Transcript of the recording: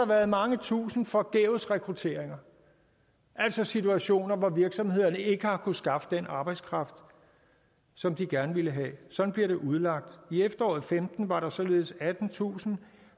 været mange tusinder forgæves rekrutteringer altså situationer hvor virksomhederne ikke har kunnet skaffe den arbejdskraft som de gerne vil have sådan bliver det udlagt i efteråret og femten var der således attentusind